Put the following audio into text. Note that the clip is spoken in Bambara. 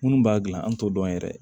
Minnu b'a gilan an t'o dɔn yɛrɛ